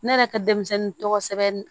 Ne yɛrɛ ka denmisɛnnin tɔgɔ sɛbɛn